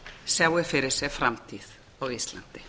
sjái fyrir sér framtíð á íslandi